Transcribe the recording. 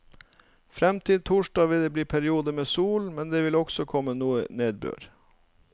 Frem til torsdag vil det bli perioder med sol, men det vil også komme noe nedbør.